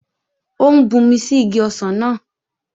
Ó ń bumi sí igi ọsàn náà